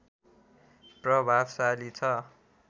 प्रभावशाली छ